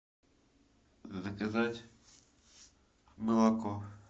заказать молоко